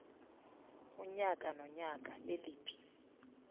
unyaka nonyaka leliphi